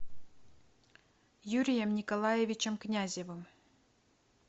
юрием николаевичем князевым